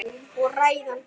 Og ræðan kom.